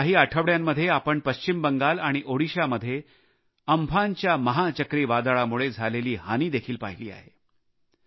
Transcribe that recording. गेल्या काही आठवड्यांमध्ये आपण पश्चिम बंगाल आणि ओदिशामध्ये अम्फानच्या चक्रीवादळामुळे झालेली हानी देखील पाहिली आहे